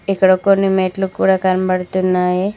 ఇక్కడ కొన్ని మెట్లు కూడా కనబడుతున్నాయి.